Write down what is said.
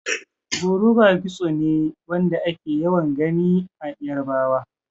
Koroba kitso ne Wanda ake yawan Gani na yarbawa.